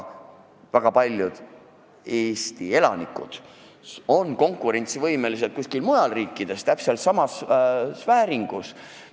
Väga paljud Eesti elanikud on konkurentsivõimelised kuskil mujal riikides täpselt samas sfääris.